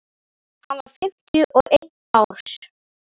hann var fimmtíu og einn árs